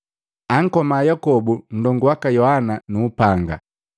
Ankoma Yakobu, nndongu waka Yohana nu upanga.